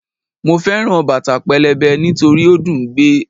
Mo fẹ́ràn bàtà pẹlẹbẹ nítorí ó dùn ún gbé